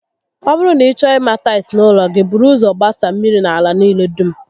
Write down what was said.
Ọ bụrụ na ị chọọ ima tails n'ụlọ gi, buru ụzọ gbasa mmiri na ala niile dum